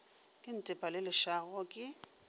ke ntepa le lešago ke